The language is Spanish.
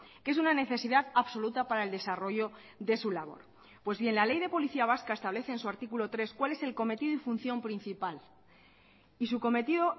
que es una necesidad absoluta para el desarrollo de su labor pues bien la ley de policía vasca establece en su artículo tres cuál es el cometido y función principal y su cometido